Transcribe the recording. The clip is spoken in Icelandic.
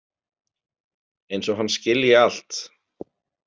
Eins og hann skilji allt.